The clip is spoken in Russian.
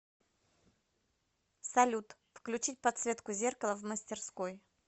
салют включить подсветку зеркала в мастерской